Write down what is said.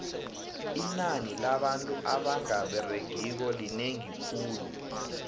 inani labantu abanga beregiko linengi khulu